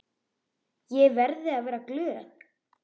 Ég verði að vera glöð.